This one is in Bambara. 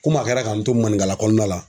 Komi a kɛla k'an to maninkala kɔnɔna la